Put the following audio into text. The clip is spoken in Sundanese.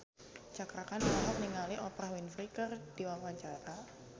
Cakra Khan olohok ningali Oprah Winfrey keur diwawancara